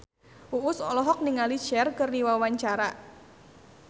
Uus olohok ningali Cher keur diwawancara